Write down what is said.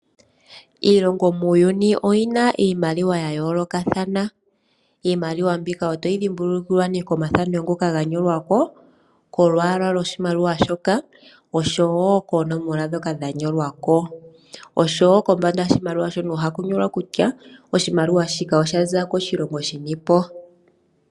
iilongo muuyuni oyina iimaliwa ya yoolokathana. Iimaliwa mbika otayi thimbulukiwa komathano ngoka ga nyolwako, kolwala lwoshi maliwa shoka nokoonomola ndhoka dha nyolwako, nokombanda yoshimaliwa ohaku nyolkwa kutya oshimaliwa shika oshaza koshilongo shini.